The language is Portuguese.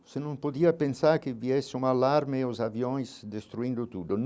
Você não podia pensar que viesse um alarme aos aviões destruindo tudo.